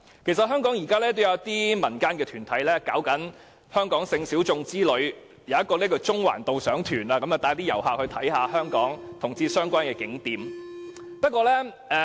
其實香港現時也有一些民間團體舉辦香港性小眾之旅，例如有一個中環導賞團會帶旅客參觀與同志相關的景點。